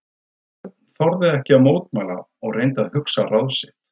Örn þorði ekki að mótmæla og reyndi að hugsa ráð sitt.